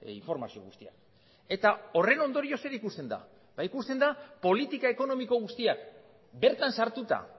informazio guztia eta horren ondorio zer ikusten da ba ikusten da politika ekonomiko guztiak bertan sartuta